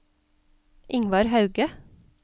Ingvar Hauge